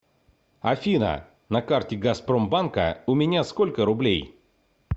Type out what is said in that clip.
афина на карте газпромбанка у меня сколько рублей